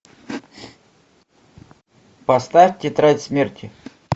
поставь тетрадь смерти